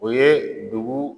O ye dugu